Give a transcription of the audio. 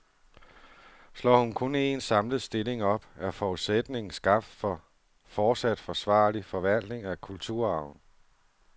Slår hun kun en, samlet stilling op, er forudsætningen skabt for fortsat forsvarlig forvaltning af kulturarven.